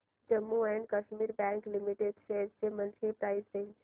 Jammu and Kashmir bank limited shares ची monthly price range